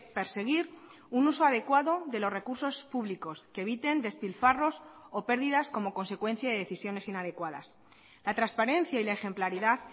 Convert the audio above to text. perseguir un uso adecuado de los recursos públicos que eviten despilfarros o pérdidas como consecuencia de decisiones inadecuadas la transparencia y la ejemplaridad